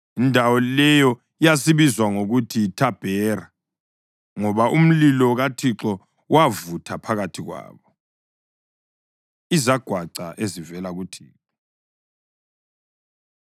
Indawo leyo yasibizwa ngokuthi yiThabhera, ngoba umlilo kaThixo wavutha phakathi kwabo. Izagwaca Ezivela kuThixo